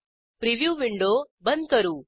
preview window बंद करू